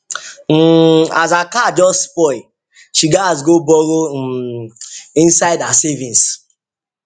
um as her car just spoil she gats go borrow um inside her savings um